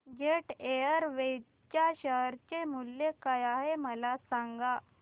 jet Airways च्या share चे मूल्य काय आहे मला सांगा